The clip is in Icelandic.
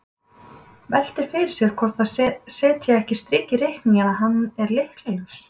Veltir fyrir sér hvort það setji ekki strik í reikninginn að hann er lykla- laus.